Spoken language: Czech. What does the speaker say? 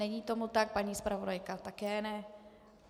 Není tomu tak, paní zpravodajka také ne.